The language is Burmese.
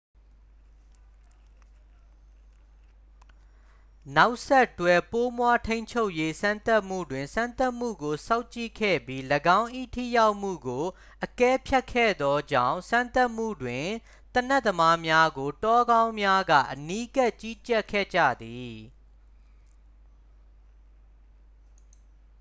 နောက်ဆက်တွဲ ပိုးမွှားထိန်းချုပ်ရေး စမ်းသပ်မှုတွင် စမ်းသပ်မှုကို စောင့်ကြည့်ခဲ့ပြီး ၎င်း၏ ထိရောက်မှုကို အကဲဖြတ်ခဲ့သောကြောင့် စမ်းသပ်မှုတွင် သေနတ်သမားများကို တောခေါင်းများက အနီးကပ် ကြီးကြပ်ခဲ့ကြသည်